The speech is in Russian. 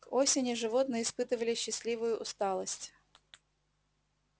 к осени животные испытывали счастливую усталость